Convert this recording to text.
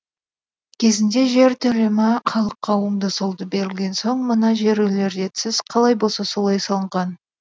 кезінде жер төлімі халыққа оңды солды берілген соң мына жер үйлер ретсіз қалай болса солай салынған